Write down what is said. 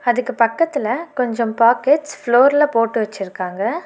அதுக்கு பக்கத்துல கொஞ்சம் பாக்கெட்ஸ் ஃப்ளோர்ல போட்டு வெச்சுருக்காங்க.